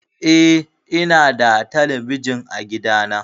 Eh, ina da talabijin a gida na.